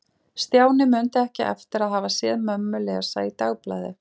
Stjáni mundi ekki eftir að hafa séð mömmu lesa í dagblaði.